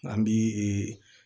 An bi ee